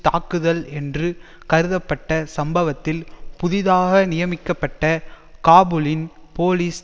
தாக்குதல் என்று கருதப்பட்ட சம்பவத்தில் புதிதாக நியமிக்கப்பட்ட காபூலின் போலீஸ்